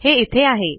हे इथे आहे